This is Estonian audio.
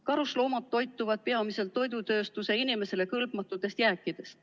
Karusloomad toituvad peamiselt toidutööstuse inimesele kõlbmatutest jääkidest.